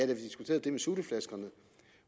vi diskuterede det med sutteflaskerne